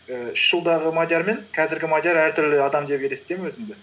ііі үш жылдағы мадиар мен қазіргі мадиар әртүрлі адам деп елестимін өзімді